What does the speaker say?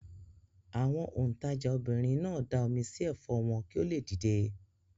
Àwọn òǹtajà obìnrin náà da omi sí ẹ̀fọ́ wọn kí ó le dìde.